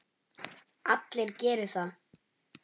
Allir geri það.